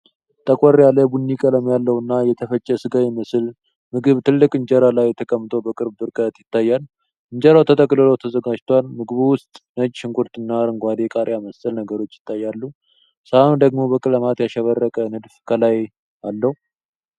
ጠቆር ያለ ቡኒ ቀለም ያለውና የተፈጨ ሥጋ የሚመስል ምግብ ትልቅ እንጀራ ላይ ተቀምጦ በቅርብ ርቀት ይታያል። እንጀራው ተጠቅልሎ ተዘጋጅቷል፣ ምግቡ ውስጥ ነጭ ሽንኩርትና አረንጓዴ ቃሪያ መሰል ነገሮች ይታያሉ፤ ሳህኑ ደግሞ በቀለማት ያሸበረቀ ንድፍ ከላይ አለው።